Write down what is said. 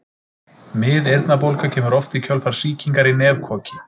Miðeyrnabólga kemur oft í kjölfar sýkingar í nefkoki.